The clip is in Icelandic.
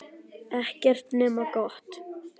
Ekkert nema gott.